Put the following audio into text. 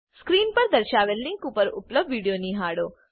screen પર દર્શાવેલ link પર ઉપલબ્ધ વિડીયો નિહાળો